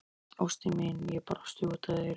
Ástin mín, ég brosi út að eyrum.